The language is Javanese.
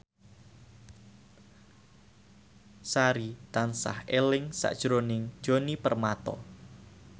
Sari tansah eling sakjroning Djoni Permato